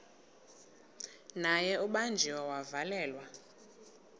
naye ubanjiwe wavalelwa